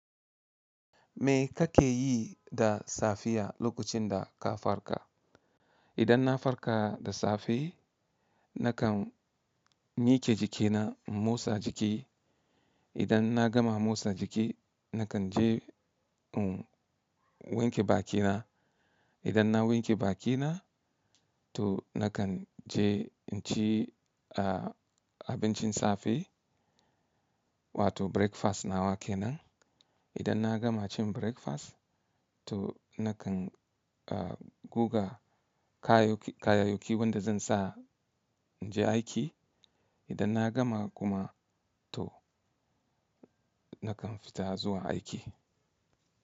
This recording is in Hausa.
Me ka ke yi da safiya lokacin da ka farka? Idan na farka da safe, na kan miƙe jikina in motsa jiki. Idan na gama motsa jiki, na kan je in wanke bakina. Idan na wanke bakina, to na kan je in ci a abincin safe wato breakfast na wa ke nan. Idan na gama cin breakfast, to na kan guga kayayyaki wanda zan sa in je aiki. Idan na gama kuma to na kan fita zuwa aiki.